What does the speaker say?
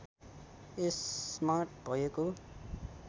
यसमा भएको